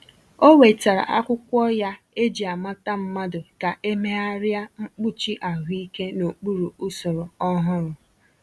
O wetara akwụkwọ ya eji-amata mmadụ ka e meegharia mkpuchi ahụike n’okpuru usoro ọhụrụ.